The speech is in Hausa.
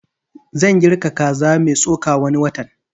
Zan girka zaka mai tsoka wani watan